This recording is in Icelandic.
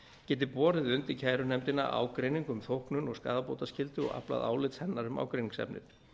geti borið undir kærunefndina ágreining um þóknun og skaðabótaskyldu og aflað álits hennar um ágreiningsefnið